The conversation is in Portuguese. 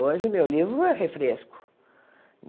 Hoje meu livro é refresco.